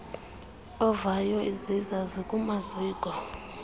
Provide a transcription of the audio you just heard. ovayo iziza zikumaziko